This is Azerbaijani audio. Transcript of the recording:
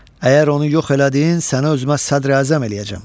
Əgər onu yox elədin, səni özümə sədr-əzəm eləyəcəm.